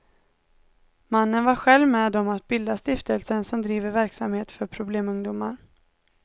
Mannen var själv med om att bilda stiftelsen som driver verksamhet för problemungdomar.